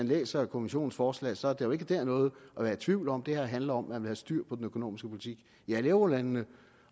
læser kommissionens forslag er der jo ikke dér noget at være i tvivl om det her handler om at man styr på den økonomiske politik i alle eurolandene